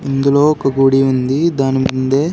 ఇందులో ఒక గుడి ఉంది దాని ముందే